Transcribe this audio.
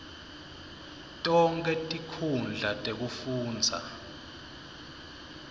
tonkhe tinkhundla tekufundza